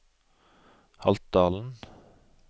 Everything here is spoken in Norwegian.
Haltdalen